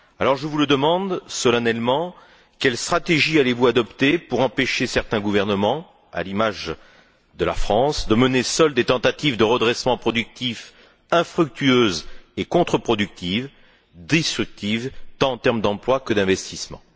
Je vous le demande donc solennellement quelle stratégie allez vous adopter pour empêcher certains gouvernements, à l'image de la France, de mener seuls des tentatives de redressement productif infructueuses et contreproductives, destructrices, tant en termes d'emplois que d'investissements?